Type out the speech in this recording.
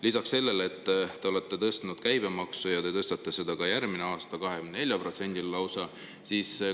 Lisaks te olete tõstnud käibemaksu ja tõstate seda ka järgmine aasta, 24%‑le lausa.